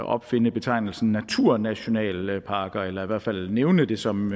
opfinde betegnelsen naturnationalparker eller i hvert fald nævne det som